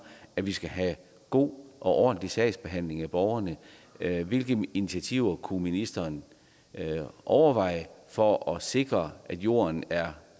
at vi skal have god og ordentlig sagsbehandling for borgerne hvilke initiativer kunne ministeren overveje for at sikre at jorden er